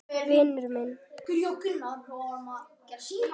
Vinur minn!